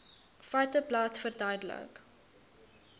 feiteblad verduidelik